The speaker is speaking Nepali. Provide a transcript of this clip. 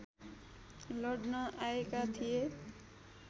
लड्न आएका थिए